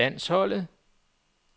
landsholdet